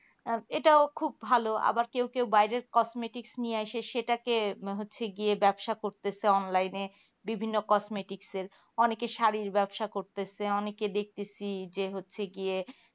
আর এটাও খুব ভালো আবার কেও কেও বাইরের cosmatik নিয়ে এসে সেটাকে হচ্ছে গিয়ে ব্যাবসা করতেছে online এ বিভিন্ন cosmatik এর অনেকে শাড়ির ব্যবসা করতেছে অনেকে দেখতেছি যে হচ্ছে কি এ